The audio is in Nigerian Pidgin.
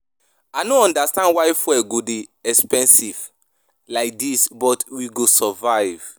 I no understand why fuel go dey expensive like dis but we go survive